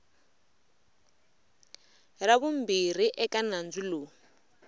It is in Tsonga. ra vumbirhi eka nandzu lowu